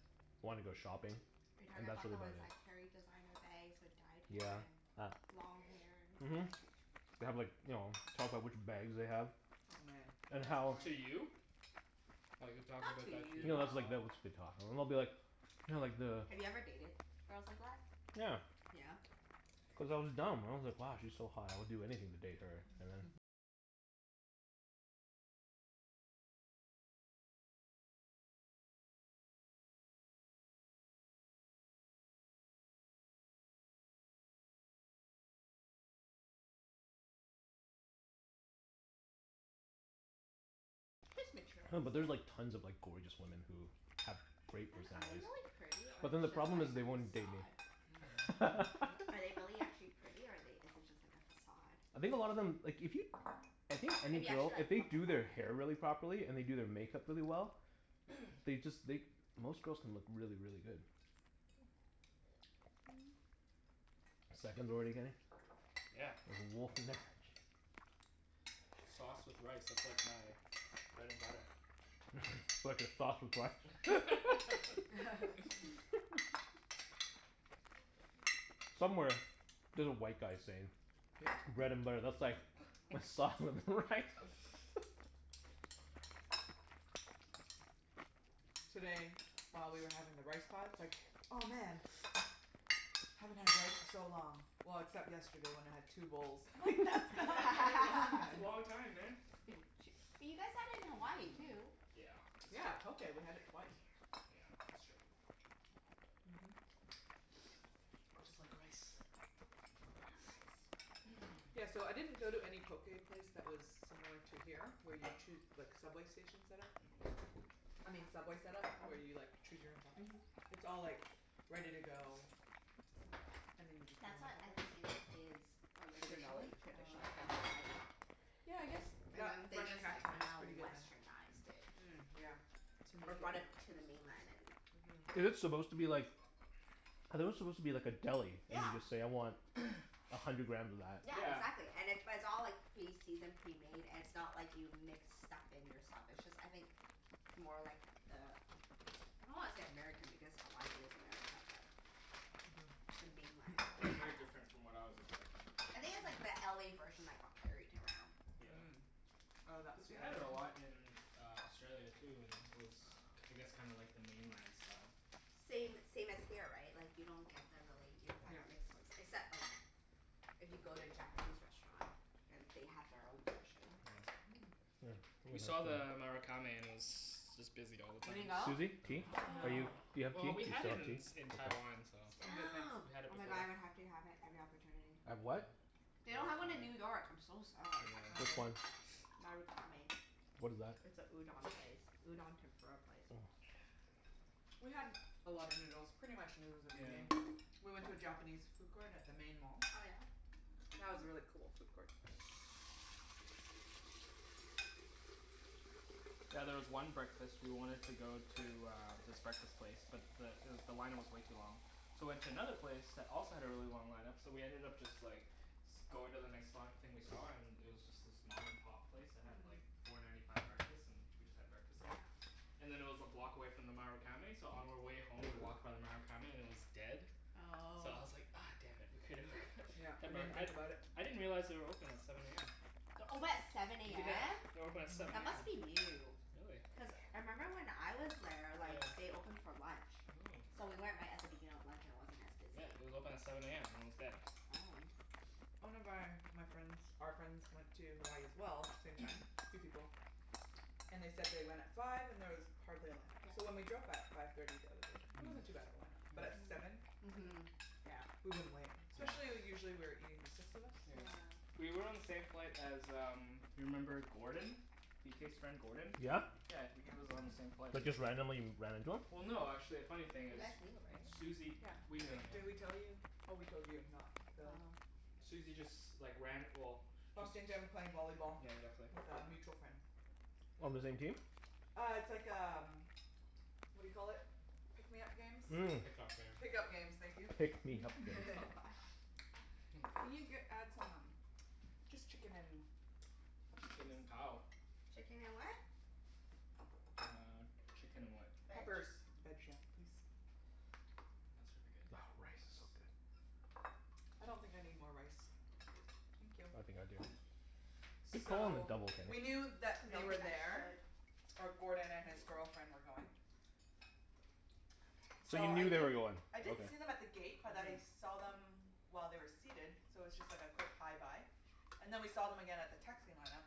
Are you talking about the ones that carry designer bags with dyed hair Yeah, and ah. long hair and Mhm. They have like, you know, talk about which bags they have. Oh man And how To you? Like, they're talking Not about to that to you, No, you? that's like, though. they'll just be talking. And they'll be like you know like the Have you ever dated girls like that? Yeah. Yeah? Cuz I was dumb. I was like, "Wow, she's so hot. I would do anything to date her." And then Just No, but there's like materialistic. tons of like gorgeous women who have great Then are they personalities. really pretty, or But is then the it just problem like is a they won't date me. facade? Hmm? What? Are they really actually pretty or are they, is it just like a facade? I think a lot of them, like if you I think If any you actually girl, if like look they at do them? their hair really properly, and they do their makeup really well they just, they, most girls can look really, really good. Seconds already getting? Yeah. There's a wolf in there? Sauce with rice. That's like my bread and butter. Sauce with rice. Somewhere there's a white guy saying bread and butter, that's like my sauce with rice. Today, while we were having the rice pot, it's like, "Oh, man!" "Haven't had rice in so long. Well, except yesterday when I had two bowls." I'm like, "That's not very long, That's a then." long time, man. Bu- ch- but you guys had it in Hawaii too. Yeah, that's Yeah, true. poké. We had it twice. Yeah, that's true. I Mhm. just like rice. Love rice. Yeah, so I didn't go to any poké place that was similar to here where you choo- like, subway station set-up. I uh-huh. mean Subway set-up, where you like Mhm. choose your own toppings. Mhm. It's all like ready to go and then you just get That's on the what I think subway. is is Traditionally? originally Ah, traditionally okay. in Hawaii. Yeah, I guess And that then they Fresh just like Catch one is kinda pretty good then. Westernized it. Mm, yeah. To make Or it more brought it to the mainland and Mhm. Is it supposed to be like I thought it was supposed to be like a deli, and Yeah. you just say, "I want a hundred grams of that." Yeah, Yeah. exactly. And it it's all like pre-seasoned, pre-made. It's not like you mix stuff in yourself. It's just I think more like the Am- I don't wanna say American, because Hawaii is America, but Mhm. the mainland. Yeah, it's very different from what I was expecting. I think it's like the LA version that got carried around. Yeah. Mm. Oh, that? Cuz we had it a lot in uh Australia, too, and it was k- I guess kinda like the mainland style. Same same as here, right? Like you don't get the really, you don't find Yep. the mixed ones. Except like if you go to a Japanese restaurant. And they have their own version. Mm. We saw the Marukame and it was just busy all the You didn't time. go? Susie, tea? No. Are No. you, do you have Well, tea? Do we you had still it want in tea? in Taiwan, so I'm good, thanks. Damn. we Oh had it my god, before. I would have to have it every opportunity. Have what? Mhm. They don't have one in New Marukame. York. I'm so sad. Oh, Which Yeah. really? one? Marukame. What is that? It's a udon place. Udon tempura place. We had a lot of noodles. Pretty much noodles every Yeah. day. We went to a Japanese food court at the main mall. Oh yeah? That was a really Oh. cool food court. Yeah, there was one breakfast, we wanted to go to uh this breakfast place but the it w- the line up was way too long. So we went to another place that also had a really long line up. So we ended up just like going to the next li- thing we saw and it was just this mom and pop place that had like Hmm. four ninety five breakfast. And we just had breakfast there. Yeah. And then it was a block away from the Marukame so on our way home we walked by the Marukame and it was dead. So I Oh. was like, ah damn it. We coulda we Yep. could We had more, didn't I think about it. I didn't realize they were open at seven a m. They're open at seven a Yeah. m? They're open at Mhm. seven That a m. must be new. Really? Cuz I member when I was there, like Yeah. they opened for lunch. Mm. So we went right at the beginning of lunch and it wasn't as Yeah, busy. it was open at seven a m and it was dead. Oh. One of my my friends, our friends went to Hawaii as well. Same time. Three people. And they said they went at five and there was hardly a line up. So when Yeah. we drove by at five thirty the other day, Hmm. it Mm. wasn't too bad of a line up. But at seven? Mm. Li- Mhm. Yeah. we wouldn't wait. Yeah. Especially usually we were eating, the six of us. Yeah. Yeah. We were on the same flight as um you remember Gordon? B k's friend, Gordon? Yeah? Yeah. W- he was on the same flight as But us. just randomly ran into him? Well no, actually, a funny thing You is guys knew, right? Susie, Yeah. we I knew him, think, yeah. did we tell you? Oh, we told you, not Phil. Oh. Susie just like ran, well just Bumped into him playing volleyball Yeah, exactly. with a mutual friend. On the same team? Uh, it's like um what do you call it? Pick me up games? Mm. Pick up games. Pick up games. Thank you. Pick me up games. Can you get add some um Just chicken and peppers, please? Chicken and cow. Chicken and what? Uh, chicken and what? Veg? Peppers. please? That should be good, Oh, yeah. rice is so Thanks. good. I don't think I need more rice. Thank you. I think I do. Good call on the So, double, we Kenny. knew that they Don't were think I there should. or Gordon and his girlfriend were going. So So you I Okay, knew fine. they were didn't going? I didn't Okay. see them at the gate but I Mhm. saw them while they were seated so it was just like a quick hi bye. And then we saw them again at the taxi line up.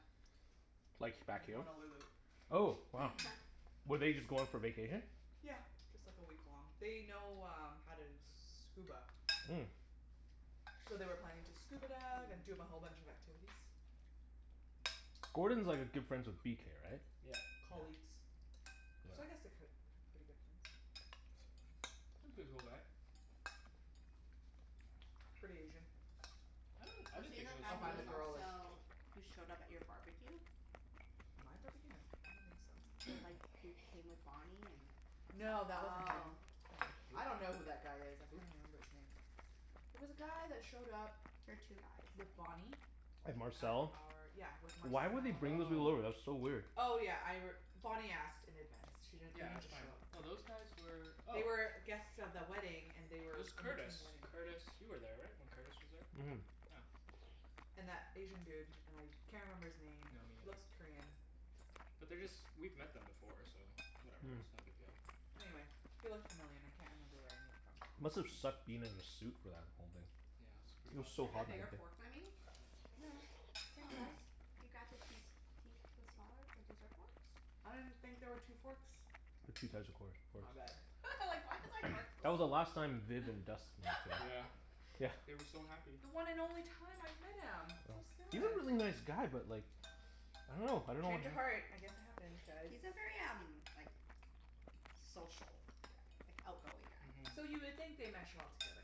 Like, back In here? Honolulu. Oh, wow. Were they just going for vacation? Yeah, just like a week long. They know um how to scuba. Mm. So they were planning to scuba dive and do a whole Mmm. bunch of activities. Gordon's like a good friends with b k, right? Yep. Colleagues. So I Yeah. guess they're ki- k- pretty good friends. He's a pretty cool guy. Pretty Asian. I don't, I Was didn't he think the he was I guy who super find the was Asian. girl is. also, who showed up at your barbecue? My barbecue? No, I don't think so. With like, who came with Bonnie and No, that wasn't him, Oh. no. I don't know who that guy is. I Who? There Who? can't even remember his name. There was a guy that showed up were two guys, I with Bonnie think. And at Marcel? our, yeah, with Marcel. Why would they bring those people Oh. over? That's so weird. Oh, yeah, I r- Bonnie asked in advance. She didn't, they Yeah, didn't that's just show fine. up. No, those guys were They oh were guests of the wedding, and they It were was in Curtis. between wedding. Curtis you were there, right? When Curtis was there? Yeah. And that Asian dude. And I can't remember his name. No, me He neither. looks Korean. But they're just, we've met them before, so whatever. It's no big deal. Mm. Anyway, he looked familiar and I can't remember where I knew him from. Must have sucked being in a suit for that whole thing. Yeah, it's pretty It was Do hot so you have back a hot bigger there. that day. fork than me? No, same Oh. size. You grabbed the key s- key the smaller, the dessert forks? I didn't think there were two forks. There's two size of course forks. My bad. I was like why is my fork so That was the small? last time Viv and Dustin were Yeah. together. Yeah. They were so happy. The one and only time I met him. So Yeah. He's a sad. really nice guy but like I don't know. I don't know what Change of uh heart. I guess it happens, guys. He's a very um like social guy. Like, outgoing guy. Mhm. So you would think they mesh well together.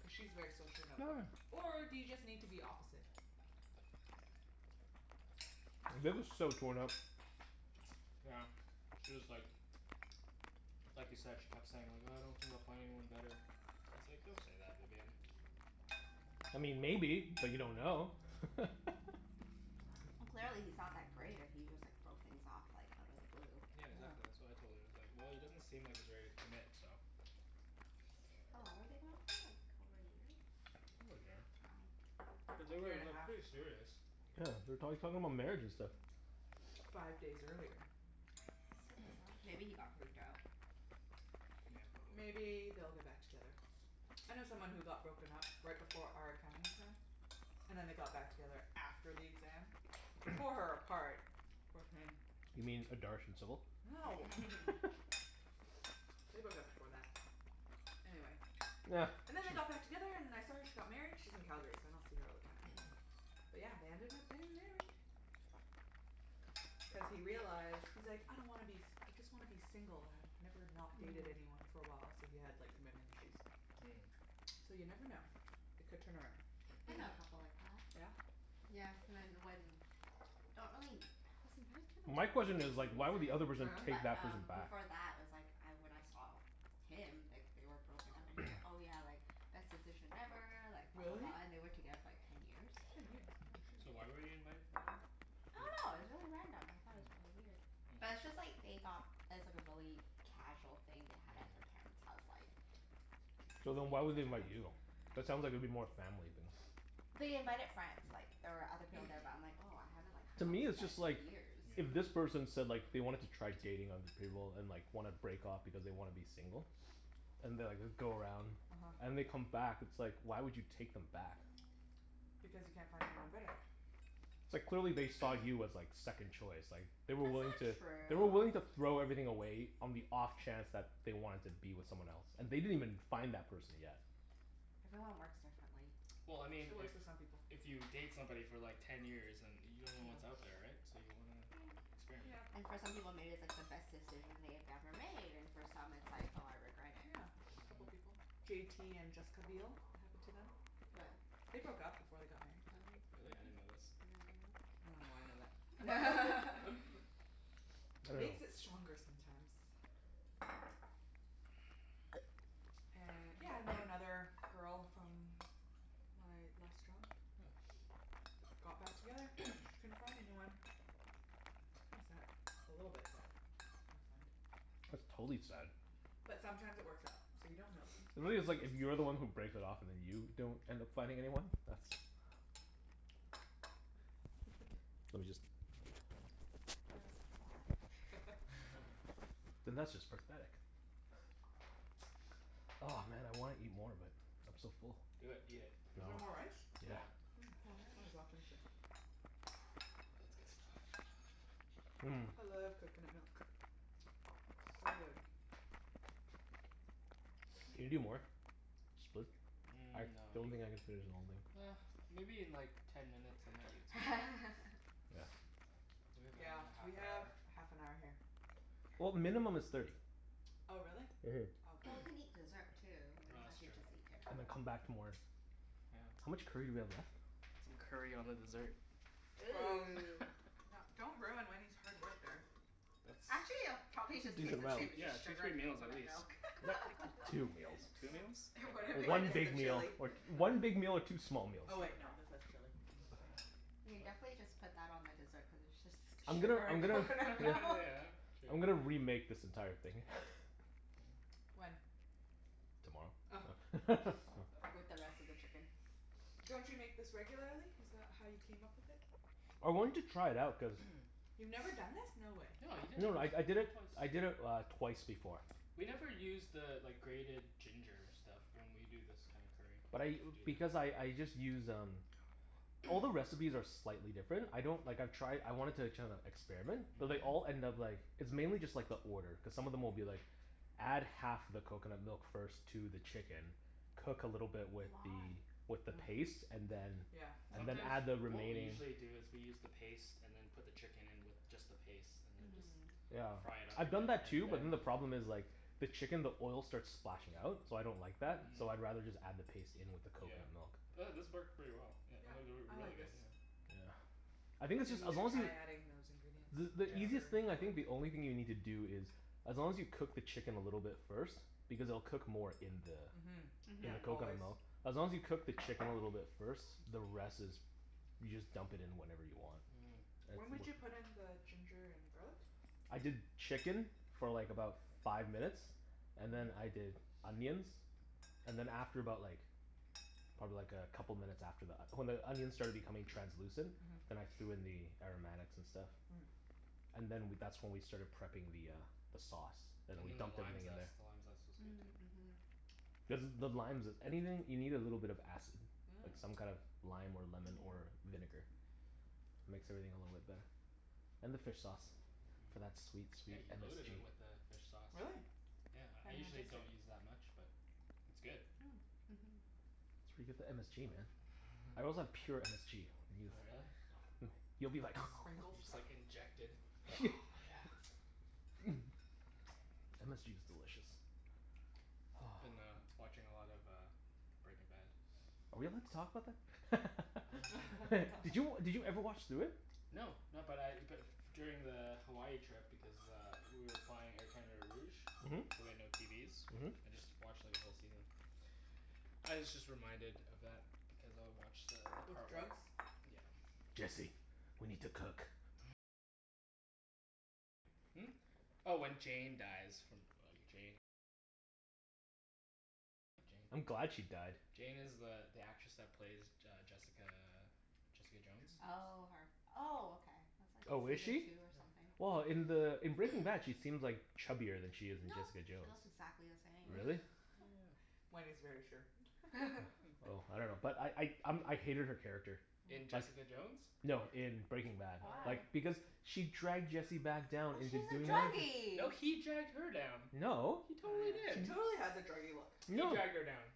Cuz she's very social and outgoing. Or do you just need to be opposite? Yeah. Viv was so torn up. Yeah, she was like like you said, she kept saying like, "Uh I don't think I'll find anyone better." I was like, "Don't say that, Vivienne." I mean maybe, but you don't know. Well clearly he's not that great if he just like broke things off like out of the blue. Yeah, uh-huh. exactly. That's what I told her. I was like, "Well, he doesn't seem like he's ready to commit, so" How long were they going out for? Like over a year? Over a year. But they Year were and a like half. pretty serious. Wow. Yeah, they were talk talking about marriage and stuff. Five days earlier. That's so bizarre. Maybe he got freaked out. Yeah, probably. Maybe they'll get back together. I know someone who got broken up right before our accounting exam. And then they got back together after the exam. Tore her apart, poor thing. You mean No. They broke up before that. Anyway. And then they got back together and I saw her, she got married. She's in Calgary so I don't see her all the time. But yeah, they ended up getting married. Cuz he realized, he's like, "I don't wanna be s- I just wanna be single." "I've never not dated anyone for a while." So he had like commitment issues. Mm. So you never know. It could turn around. Mhm. I know a couple like that. Yeah? Yeah, cuz I Don't really, I was invited to the My wedding, question for is like why would the some reason. other Oh person yeah? take But that person um back? before that I was like I, when I saw him, like they were broken up and he's like, "Oh yeah, like best decision ever, like blah, blah, Really? blah," and they were together for like ten years. Ten years? Holy shit. So why were you invited for the wedding? I dunno. It was Di- really random. I thought it was really weird. But Yeah. it's Hmm. just like they got it was like a really casual thing they had at their Mm. parents' house like k- So excuse me. then It why was at would they the invite house. you? That sounds like it'd be more family than They invited friends. Like there were other people there, but I'm like, "Oh, I haven't like To hung out me, with you it's guys just like in Yeah. years." if this Mhm. person said like they wanted to try dating other people and like wanna break off because they wanna be single. And they'll like go around uh-huh. and they come back. It's like why would you take them back? Because you can't find anyone better. It's like clearly they saw you as like second choice, like They That's were wiling not to They were willing true. to throw everything away on the off chance that they wanted to be with someone else. And they didn't even find that person yet. Everyone works differently. Well, I mean It if works for some people. if you date somebody for like ten years and you Yeah. don't know what's out there, right? So you wanna experiment. Yep. And for some people maybe it's like the best decision they had ever made and for some it's like, "Oh, I regret it." Yeah, a couple Mhm. people. J t and Jessica Biel. It happened to them. They broke up before they got married. Oh. Really? I Mhm. didn't know this. I dunno why I know that. I dunno. Makes it stronger sometimes. And yeah, I know another girl from my last job. Got back together. Couldn't find anyone. Hmm. Kinda sad. A little bit sad. I find. That's totally sad. But sometimes it works out. So you don't know then. Really it's like, if you're the one who breaks it off and then you don't end up finding anyone? That's Let me just Thought it was a fly. then that's just pathetic. Oh man, I wanna eat more but I'm so full. Do it. Eat it. Is No. there more rice? Yeah. Yeah. Mm, More might as well rice. finish it. That's good stuff. Mmm. I love coconut milk. So good. Can you do more? Split? I Mm, no don't you, think I can finish the whole thing. ah, maybe in like ten minutes I might eat something. We have Yeah, another half we an have hour. half an hour here. Yeah. Well, minimum is thirty. Oh, really? Mhm. Oh, okay. Well, we can eat dessert, too. We No, don't have that's to true. just eat dinner. And then come back to more. Yeah. How much curry do we have left? Put some curry on the dessert. Gross. Ooh. No, don't ruin Wenny's hard work there. That's, Actually it'll probably Decent just taste the meal. same. It's yeah, just two, sugar three and meals at coconut least. milk. Yep. Two meals. Two Yeah. meals? It wouldn't Well, make a one Minus the big difference. meal, chili. or one big meal or two small Oh meals. wait, no, this has chili. What am I saying? You can What? definitely just put that on the dessert cuz it's just I'm gonna sugar I'm and gonna coconut milk. Yeah, true. I'm gonna remake this entire thing. When? Tomorrow. Oh. No. With the rest of the chicken. Don't you make this regularly? Is that how you came up with it? I wanted to try it out cuz You've never done this? No way. No, you did it, No no, I I you did did it, it twice. I did it uh twice before. We never use the like grated ginger stuff when we do this kinda curry. But I, Do because that. I I just use um All the recipes are slightly different. I don't, like I've tried, I wanted to kinda experiment. But they all Mhm. Mhm. end up like It's mainly just like the order, cuz some of them will be like Add half the coconut milk first to the chicken cook a little bit with Why? the with the paste and then Yeah. Yeah. and then Mm. Sometimes, add the what we remaining usually do is we use the paste and then put the chicken in with just the paste and then just Mm. Yeah, fry it up a I've bit done that and too but then then the the problem is like the chicken, the oil starts splashing out. So I don't like that. Mm. So Mhm. I'd rather just add the paste in with the Yeah. coconut milk. But this Hmm. worked pretty well, yeah Yep, or or I really like this. good, yeah. Yeah. I think this Maybe is, we as should long as try y- adding those ingredients. The the easiest Yeah. Ginger and thing I garlic. think, the only thing you need to do is as long as you cook the chicken a little bit first because it'll cook more in the Mhm. in Yeah, the Mhm. always. coconut milk. As long as you cook the chicken a little bit first, the rest is you just dump it in whenever you want. Mm. It's When w- would you put in the ginger and garlic? I did chicken for like about five minutes and then Mhm. I did onions. And then after about like probably like a couple minutes after that. When the onions started becoming translucent. Mhm. Then I threw in the aromatics and stuff. Mm. And then w- that's when we started prepping the uh the sauce. And then And we then the dumped lime everything in there. zest. The lime zest was good, too. Mm. Mhm. Cuz the limes is, anything, you need a little bit of acid. Mm. Like some kind of lime or Yeah. lemon or vinegar. Makes everything a little bit better. And the fish sauce. Mhm. For that sweet, Yeah, sweet you loaded MSG. it with the fish sauce. Really? Yeah, I Can't even usually taste it. don't use that much but it's good. Mm. Mhm. That's where you get the MSG, man. I also have pure MSG if Oh, yo- really? Hmm, you'll be The like sprinkle You just stuff? like inject it. Oh yeah. MSG is delicious. Been uh watching a lot of uh Breaking Bad. Are we allowed to talk about that? I dunno. Did you, did you ever watch through it? No. No, but I but f- during the Hawaii trip because uh we were flying Air Canada Rouge Mhm. so we had no TVs. Mhm. I just watched like a whole season. I was just reminded of that because I watched the the With part where drugs? Yeah. Jesse. We need to cook. I'm glad she died. Jane is the the actress that plays J- uh, Jessica Jessica Jones? Oh, her. Oh, okay. That's like Oh, is season she? two or Yeah. something. Well, in the in Breaking Bad she seems like chubbier than she is in No. Jessica She Jones. looks exactly the same. Really? Yeah. Wenny's very sure. Oh, I dunno. But I I um I hated her character. In Oh. Just, Jessica Jones, no, or in Breaking Bad. Why? Like, Oh. because she dragged Jesse back down Well into she's a doing No. meth. No, druggie. he dragged her down. No. He Oh, totally yeah. She did. totally has a druggie look. He No. dragged her down.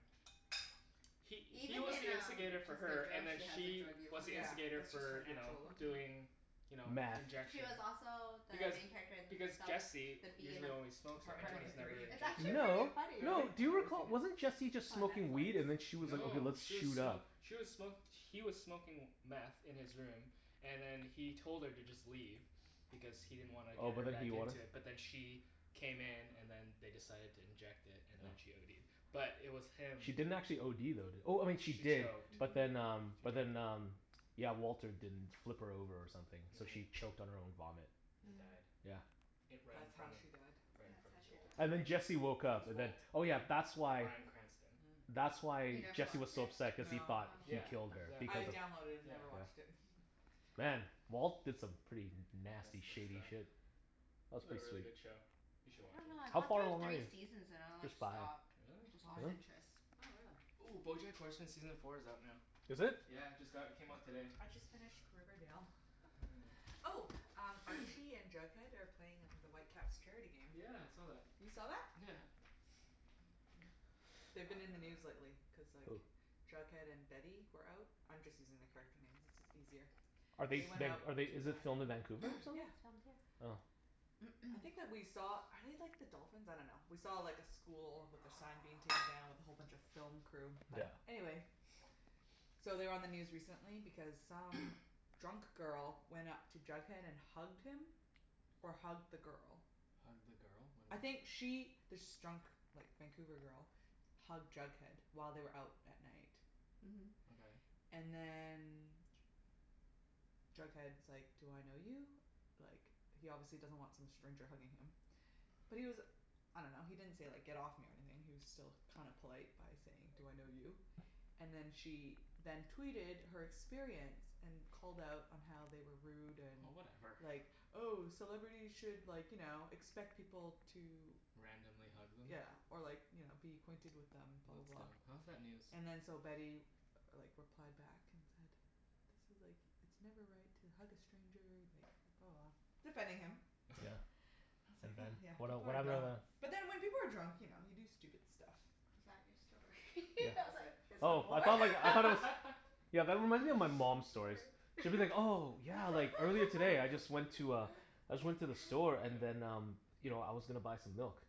He he Even was in the um instigator for Jessica her, and Jones then she has a she druggie was look. the Yeah, instigator that's just her for you know, natural look. Mhm. doing you know, Meth. She was injection. also the Because main character in the because Jesse The B in usually Ap- only smokes it, Apartment right? Apartment twenty He's three? never Thirteen. It's injected actually it pretty before? No. funny. No. Really? Do I've you never seen recall, it. wasn't Jesse It's just on smoking weed and then Netflix. she was like, "Okay, No. let's She was shoot smo- up." she was smo- he was smoking meth in his room and then he told her to just leave. Because he didn't wanna Oh, get but her then back he wanted into it. But then she came in and then they decided to inject it, and then she ODed. But it was him She didn't actually OD though, did, oh, she She did. choked. She But then Mhm. um but did. then um yeah, Walter didn't flip her over or something, so Mhm. she choked on her own vomit. And Mm. died. Yeah. It, right in That's how front of, she died? right in That's front how of she Walt. died. And then Jesse woke Who's up and then, Walt? oh yeah, that's why Brian Cranston. Mm. that's You why never Jesse was watched so it? upset cuz he No. thought Oh. he Yeah, killed her, exactly. I because of, downloaded it and Yeah. yeah. never watched it. Mm. Man, Walt did some pretty nasty Messed shady up stuff. shit. That It's was a pretty really sweet. good show. You I should watch dunno, it. I How got far through along are three you? seasons and I like There's five. stopped. Really? Just Why? lost Really? interest. Oh, really? Ooh, Bojack Horseman season four is out now. Is it? Yeah, just got, it came out today. I just finished Riverdale. Oh, Archie and Jughead are playing at the Whitecaps charity game. Yeah, I saw that. You saw that? Yeah. Yeah. They've been in the news lately cuz like Who? Jughead and Betty were out. I'm just using the character names. It's is easier. Are they They went out be- to are they, is it filmed in Vancouver, or That show, something? Yeah. it's filmed here. Oh. I think that we saw, are they like the dolphins? I dunno. We saw like a school with their sign being taken down with a whole bunch of film crew. But, Yeah. anyway So they were on the news recently because some drunk girl went up to Jughead and hugged him or hugged the girl. Hugged the girl? What I do you mean? think she this drunk like Vancouver girl hugged Jughead while they were out at night. Mhm. Okay. And then Jughead's like, "Do I know you?" Like, he obviously doesn't want some stranger hugging him. But he was I dunno, he didn't say like, "Get off me," or anything. He was still kinda polite by saying, "Do I know you?" And then she then tweeted her experience. And called out on how they were rude and Oh, whatever. like, "Oh, celebrities should like, you know, expect people to" Randomly hug them? yeah, or like you know, "be acquainted with them," blah, That's blah, dumb. blah. How is that news? And then so Betty like replied back and said "This is like, it's never right to hug a stranger," and like blah, blah, blah. Defending him. Yeah. I was And like then? huh, yeah, What el- people what are happened dumb. after that? But then when people are drunk, you know, you do stupid stuff. Is that your story? Yeah. I That was was like, it. "Is there Oh, more?" I All thought like, I thought it was right. Yeah, that reminds me of my mom's stories. She'll be like, "Oh, yeah, like earlier today I just went to a I just went to the store and then um you know, I was gonna buy some milk."